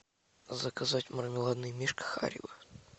заказать мармеладный мишка харибо